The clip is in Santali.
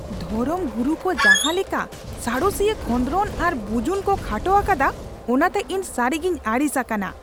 ᱫᱷᱚᱨᱚᱢ ᱜᱩᱨᱩ ᱠᱚ ᱡᱟᱦᱟᱸ ᱞᱮᱠᱟ ᱥᱟᱬᱮᱥᱤᱭᱟ ᱠᱷᱚᱸᱫᱽᱨᱚᱱ ᱟᱨ ᱵᱩᱡᱩᱱ ᱠᱚ ᱠᱷᱟᱴᱚ ᱟᱠᱟᱫᱟ ᱚᱱᱟᱛᱮ ᱤᱧ ᱥᱟᱹᱨᱤᱜᱮᱧ ᱟᱹᱲᱤᱥ ᱟᱠᱟᱱᱟ ᱾